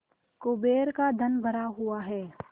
कुबेर का धन भरा हुआ है